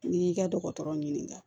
N'i y'i ka dɔgɔtɔrɔ ɲininka